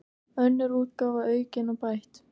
Önnur útgáfa, aukin og bætt.